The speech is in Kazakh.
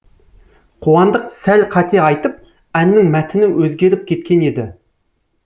қуандық сәл қате айтып әннің мәтіні өзгеріп кеткен еді